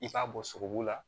I k'a bɔ sogobu la